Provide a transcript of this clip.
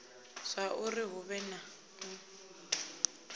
zwauri hu vhe na u